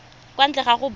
kwa ntle ga go bona